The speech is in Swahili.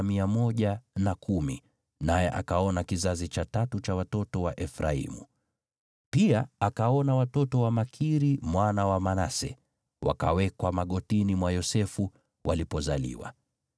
naye akaona kizazi cha tatu cha watoto wa Efraimu. Pia akaona watoto wa Makiri mwana wa Manase, wakawekwa magotini mwa Yosefu walipozaliwa.